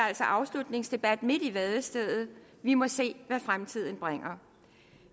altså afslutningsdebat midt i vadestedet vi må se hvad fremtiden bringer